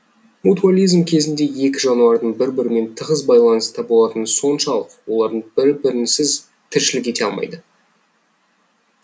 мутуализм кезінде екі жануардың бір бірімен тығыз байланыста болатыны соншалық олардың бір бірінсіз тіршілік ете алмайды